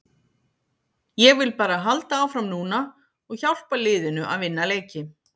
Ég vil bara halda áfram núna og hjálpa liðinu að vinna leiki.